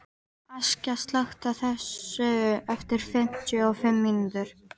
Askja, slökktu á þessu eftir fimmtíu og fimm mínútur.